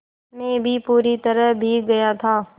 मैं भी पूरी तरह भीग गया था